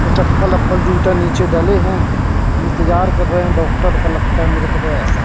और चप्पल उप्पल जूता नीचे डले हैं इंतजार कर रहे हैं डॉक्टर का लगता है मेरे को तो ऐसा।